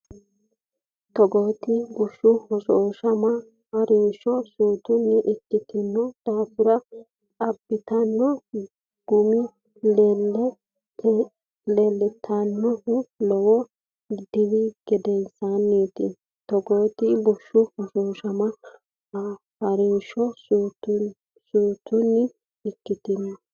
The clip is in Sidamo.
Togooti bushshu hoshooshama ha’rinsho suutunni ikkitanno daafira, abbitanno gumi leel- tannohu lowo diri gedensaanniiti Togooti bushshu hoshooshama ha’rinsho suutunni ikkitanno.